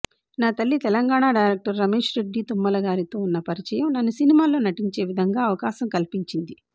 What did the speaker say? నా తల్లి తెలంగాణ డైరెక్టర్ రమేష్రెడ్డి తుమ్మల గారితో ఉన్న పరిచయం నన్ను సినిమాల్లో నటించేవిధంగా అవకాశం కల్పించింది